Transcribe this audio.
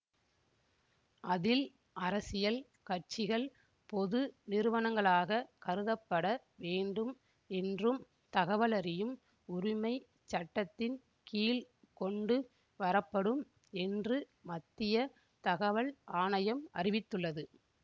அதில் அரசியல் கட்சிகள் பொது நிறுவனங்களாக கருதப்பட வேண்டும் என்றும் தகவலறியும் உரிமை சட்டத்தின் கீழ் கொண்டு வரப்படும் என்று மத்திய தகவல் ஆணையம் அறிவித்துள்ளது